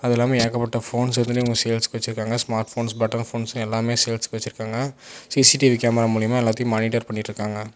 அது இல்லாம ஏகப்பட்ட ஃபோன்ஸ் வந்துட்டு இவங்க சேல்ஸுக்கு வச்சிருக்காங்க ஸ்மார்ட் போன்ஸ் பட்டன் ஃபோன்ஸ் எல்லாமே சேல்ஸ்க்கு வச்சிருக்காங்க சி_சி_டி_வி கேமரா மூலியமா எல்லாத்தையு மானிட்டர் பண்ணிட்டுருக்காங்க.